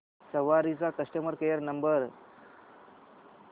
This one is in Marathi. सवारी चा कस्टमर केअर नंबर